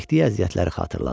Çəkdiyi əziyyətləri xatırladı.